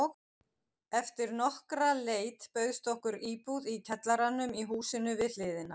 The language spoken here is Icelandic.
Eftir nokkra leit bauðst okkur íbúð í kjallaranum í húsinu við hliðina.